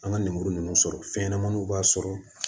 An ka lemuru ninnu sɔrɔ fɛnɲɛnamaninw b'a sɔrɔ